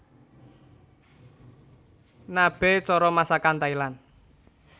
Nabe cara masakan Thailand